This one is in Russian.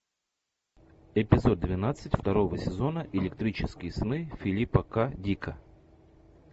эпизод двенадцать второго сезона электрические сны филипа к дика